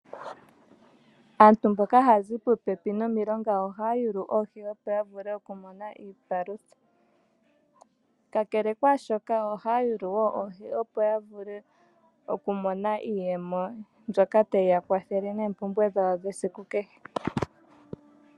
Aantu mboka haya zi puupepi momilonga ohaya yaka yule oohi opo ya vule oku mona iipalutha, kakele kwaashoka ohaya yulu woo oohi opo ya vule oku mona iiyemo mbyoka tayi yakwathele noompumbwe dhayo dhesiku kehe.